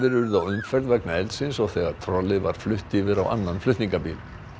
urðu á umferð vegna eldsins og þegar trollið var flutt yfir á annan flutningabíl